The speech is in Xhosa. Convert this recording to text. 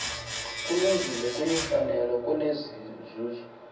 kulungile kuyimfanelo kunenzuzo